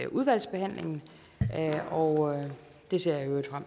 udvalgsbehandlingen og det ser